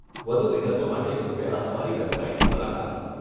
વધુ વિગતો માટે કૃપયા અમારી વેબસાઈટની મુલાકાત લો.